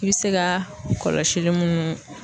I bi se ka kɔlɔsili munnu